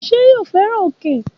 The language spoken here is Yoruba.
Ṣé yóò fẹ́ràn òkè?